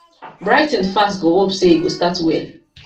brighton fans go hope say e go start well